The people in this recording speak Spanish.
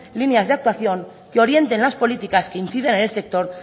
líneas de actuación que orientes las políticas que incidan al sector